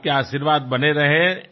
మీ ఆశీర్వాదం ఇలానే ఉండాలి